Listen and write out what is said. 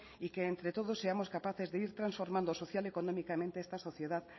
y que entre todos seamos capaces de ir transformando social y económicamente esta sociedad